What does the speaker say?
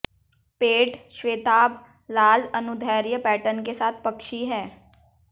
पेट श्वेताभ लाल अनुदैर्ध्य पैटर्न के साथ पक्षी है